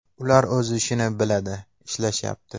Ular o‘z ishini biladi, ishlashyapti.